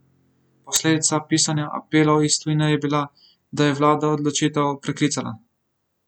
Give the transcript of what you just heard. Posledica pisanja apelov iz tujine je bila, da je vlada odločitev preklicala.